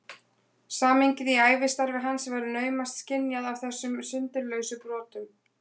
Samhengið í ævistarfi hans verður naumast skynjað af þessum sundurlausu brotum.